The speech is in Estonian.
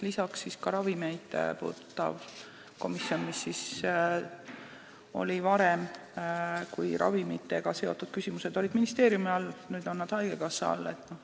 Lisaks on ravimeid puudutav komisjon ka sellega seotud, varem kuulusid ravimitega seotud küsimused ministeeriumi alla, nüüd on nad haigekassa all.